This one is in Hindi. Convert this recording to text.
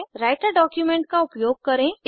राइटर डॉक्यूमेंट का उपयोग करें